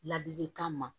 Ladilikan ma